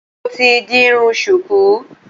Mo ti di irun ṣùkú